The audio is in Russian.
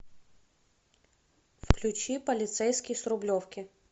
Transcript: включи полицейский с рублевки